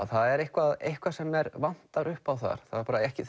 það er eitthvað eitthvað sem vantar upp á þar þau eru ekki